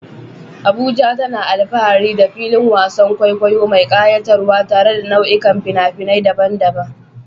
Abuja tana alfahari da filin wasan kwaikwayo mai kayatarwa tare da nau'ikan fina-finai daban-daban.